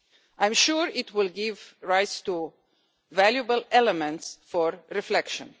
I am sure it will give rise to valuable elements for reflection.